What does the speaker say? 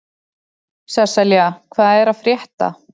Sesselja, hvað er að frétta?